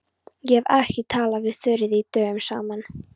Ég hef ekki talað við Þuríði dögum saman.